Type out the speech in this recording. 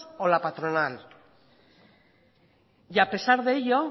o la patronal y a pesar de ello